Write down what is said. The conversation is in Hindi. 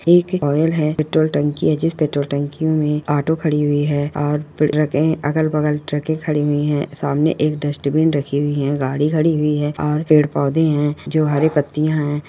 एक ऑयल है पेट्रोल टंकी है जिस पेट्रोल टंकी में ऑटो खड़ी हुई है और फिर ट्रके अगल-बगल ट्रके खड़ी हुई है सामने एक डस्टबिन रखी हुई है गाड़ी खड़ी हुई है और पेड़-पौधे है जो हरी पत्तियां है।